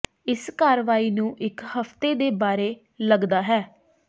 ਇਸ ਕਾਰਵਾਈ ਨੂੰ ਇੱਕ ਹਫ਼ਤੇ ਦੇ ਬਾਰੇ ਲੱਗਦਾ ਹੈ